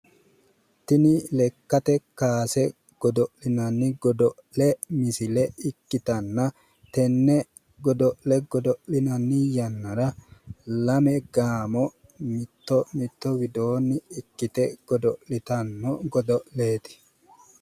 Tini lekkate kaase godo'linanni godo'le ikkitanna tenne godo'le godo'linanni yannara gaamo mitto mitto widoonni hige godo'litanno godo'leeti.